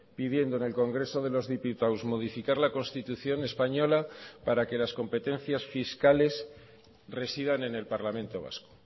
pidiendo en el congreso de los diputados modificar la constitución española para que las competencias fiscales residan en el parlamento vasco